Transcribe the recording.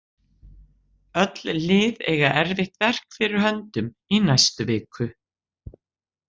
Öll lið eiga erfitt verk fyrir höndum í næstu viku.